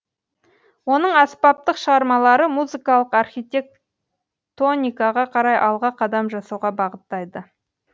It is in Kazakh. оның аспаптық шығармалары музыкалық архитектоникаға қарай алға қадам жасауға бағыттайды